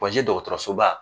Pɔn J dɔgɔtɔrɔsoba